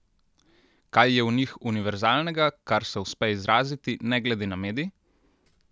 Kaj je v njih univerzalnega, kar se uspe izraziti ne glede na medij?